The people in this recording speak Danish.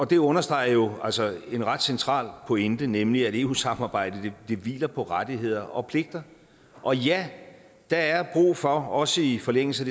det understreger jo altså en ret central pointe nemlig at eu samarbejdet hviler på rettigheder og pligter og ja der er brug for også i forlængelse